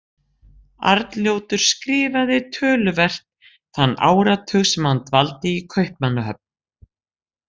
Arnljótur skrifaði töluvert þann áratug sem hann dvaldi í Kaupmannahöfn.